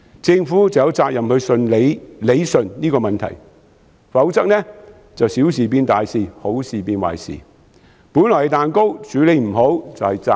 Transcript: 政府有責任理順這個問題，否則便會小事變大事，好事變壞事；本來是蛋糕，處理不好便是炸彈。